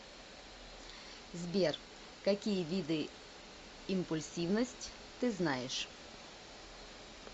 сбер какие виды импульсивность ты знаешь